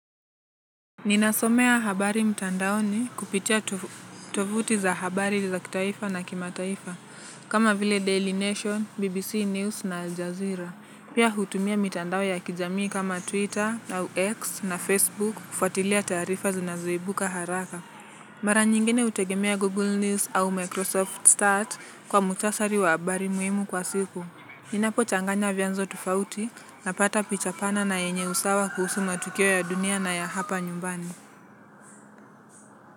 Ninasomea habari mtandaoni kupitia tovuti za habari za kitaifa na kimataifa. Kama vile Daily Nation, BBC News na Al Jazeera. Pia hutumia mitandao ya kijamii kama Twitter au X na Facebook kufuatilia taarifa zinazoibuka haraka. Mara nyingine hutegemea Google News au Microsoft Start kwa mhutasari wa habari muhimu kwa siku. Ninapochanganya vyanzo tofauti, napata picha pana na yenye usawa kuhusu matukio ya dunia na ya hapa nyumbani.